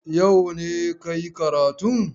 Yau ne ka yi karatun?